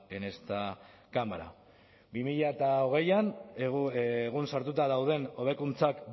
en esta cámara bi mila hogeian egun sartuta dauden hobekuntzak